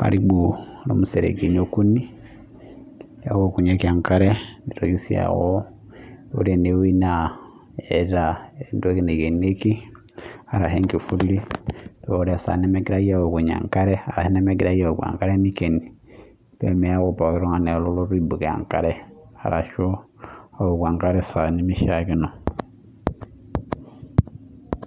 karibu museregini ookuni newokunyieki enkare nitoki sii aaku ore enewueji Neeta entoki nikenieki enkifuli paa ore esaa nemegirai awoku enkare nikeni pee meeku pooki tung'ani alotu aibuko enkare ashu ewoku enkare esaa nimishakino